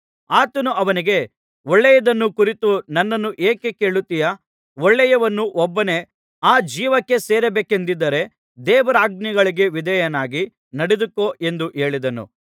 ಆತನು ಅವನಿಗೆ ಒಳ್ಳೆಯದನ್ನು ಕುರಿತು ನನ್ನನ್ನು ಏಕೆ ಕೇಳುತ್ತೀಯಾ ಒಳ್ಳೆಯವನು ಒಬ್ಬನೇ ಆ ಜೀವಕ್ಕೆ ಸೇರಬೇಕೆಂದಿದ್ದರೆ ದೇವರಾಜ್ಞೆಗಳಿಗೆ ವಿಧೇಯನಾಗಿ ನಡೆದುಕೊ ಎಂದು ಹೇಳಿದನು